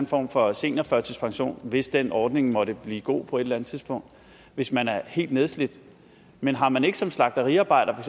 form for seniorførtidspension hvis den ordning måtte blive god på et eller andet tidspunkt hvis man er helt nedslidt men har man ikke som slagteriarbejder for